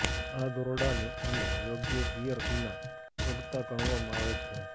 આ દોરડાની અને યોગ્ય ગિયર વિના ચડતા ગણવામાં આવે છે